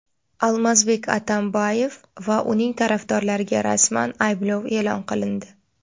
Almazbek Atamboyev va uning tarafdorlariga rasman ayblov e’lon qilindi.